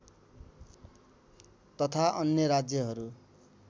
तथा अन्य राज्यहरू